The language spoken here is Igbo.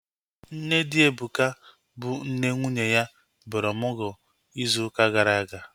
Nne di Ebuka, bụ nne nwunye ya, bịara ọmụgwọ ịzụ ụka gara aga